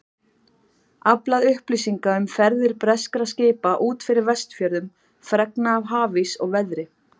Aflað upplýsinga um ferðir breskra skipa út fyrir Vestfjörðum, fregna af hafís og veðri.